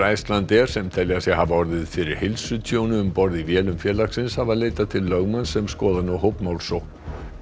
Icelandair sem telja sig hafa orðið fyrir heilsutjóni um borð í vélum félagsins hafa leitað til lögmanns sem skoðar nú hópmálsókn